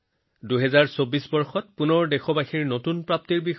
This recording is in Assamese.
২০২৪ চনত আমি দেশৰ জনসাধাৰণৰ নতুন বুজাবুজিৰে পুনৰ অনুশীলন কৰিম